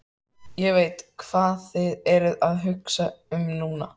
Ég veit, hvað þið eruð að hugsa um núna.